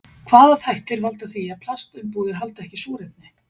Hvaða þættir valda því að plastumbúðir halda ekki súrefni?